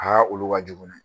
Aa olu ka jugu dɛ